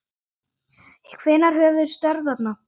Hvenær hefurðu störf þarna?